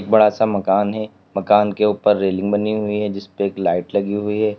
बड़ा सा मकान है मकान के ऊपर रेलिंग बनी हुई है जिसपे एक लाइट लगी हुई है।